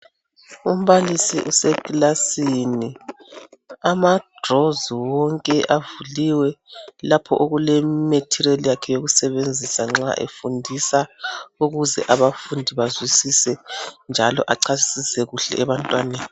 Umbalisi usekilasini amadrozi wonke avuliwe lapho okuleminye imaterial yakhe eyokusebenzisa nxa esefundisa ukuze abafundisa bezwisise njalo achasise kuhle ebantwaneni.